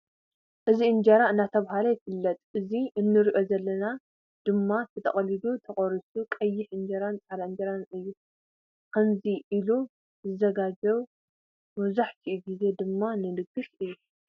እዙይ እንጀራ እናተባህለ ይፍለጥ። እቱይ ንርእዮ ዘለና ድማ ተጠቂሉሉ ዝተቆረሰ ቀይሕ እንጀራነ ፃዕዳን እንጀራን አዩ። ከምዙይ ኢሊ ዝዘጋጀው መብዛሕቲኡ ግዜ ድማ ንድግስ እዩ።